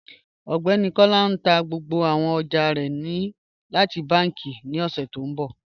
Ọgbẹni Kọla n tà gbogbo àwọn ọjà rẹ láti bànki ní oṣù tí n bọ